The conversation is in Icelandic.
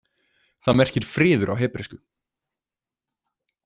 Það merkir friður á hebresku.